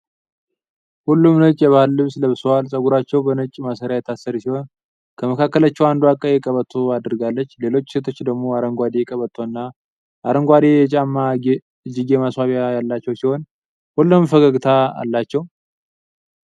ሁሉም ነጭ የባህል ልብስ ለብሰዋል፤ ፀጉራቸው በነጭ ማሰሪያ የታሰረ ሲሆን፣ ከመካከላቸው አንዷ ቀይ ቀበቶ አድርጋለች። ሌሎቹ ሴቶች አረንጓዴ ቀበቶና አረንጓዴ የጫማ/እጅጌ ማስዋቢያ ያላቸው ሲሆን፣ ሁሉም ፈገግታ አላቸው።